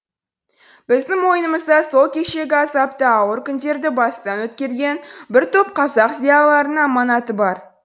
біздің мойнымызда сол кешегі азапты ауыр күндерді бастан өткерген бір топ қазақ зиялыларының аманаты бар